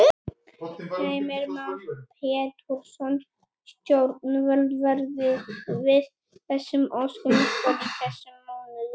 Heimir Már Pétursson: Stjórnvöld verði við þessum óskum ykkar í þessum mánuði?